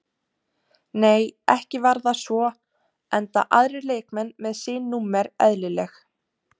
Nei ekki var það svo enda aðrir leikmenn með sín númer eðlileg.